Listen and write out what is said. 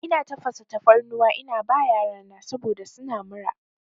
Ina tafasa tafarnuwa ina ba yarana saboda suna mura.